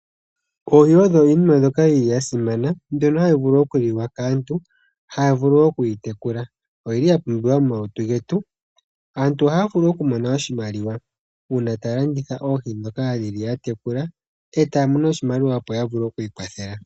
Oohi odho iinima mbyoka yi li ya simana mbyono hayi vulu okuliwa kaantu, haya vulu oku yi tekula. Oyi li ya pumbiwa momalutu getu. Aantu ohaya vulu okumona oshimaliwa uuna ta ya landitha oohi dho ka dhili ya tekula e taya mono oshimaliwa opo ya vule oku ikwathela.